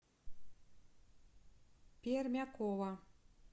пермякова